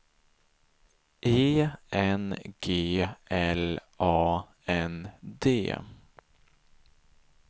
E N G L A N D